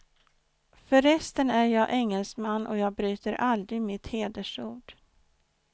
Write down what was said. Förresten är jag engelsman, och jag bryter aldrig mitt hedersord.